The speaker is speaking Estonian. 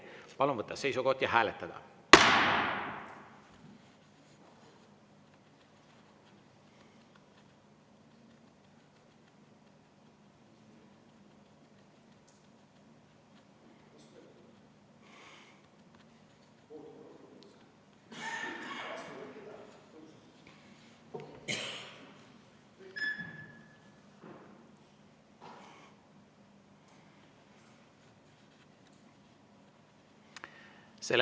Palun võtta seisukoht ja hääletada!